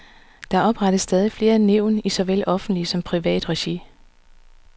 Der oprettes stadig flere nævn i såvel offentligt som privat regi.